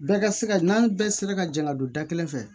Bɛɛ ka se ka n'an bɛɛ sera ka jɛn ka don da kelen fɛ